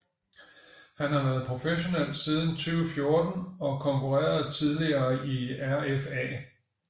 Han har været professionel siden 2014 og konkurrerede tidligere i RFA